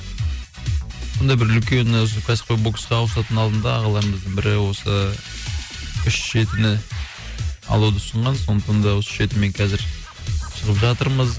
сондай бір үлкен ы осы кәсіпқой боксқа ауысатынның алдында ағаларымыздың бірі осы үш жетіні алуды ұсынған сондықтан да осы үш жетімен қазір шығып жатырмыз